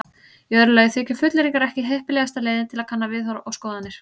Í öðru lagi þykja fullyrðingar ekki heppilegasta leiðin til að kanna viðhorf og skoðanir.